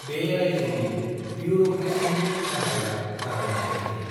बे रायजोनि बिउर'क्रेसिनि गाहाया गाहाय नेहाथारि।